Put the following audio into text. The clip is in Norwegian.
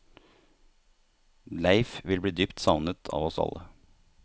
Leif vil bli dypt savnet av oss alle.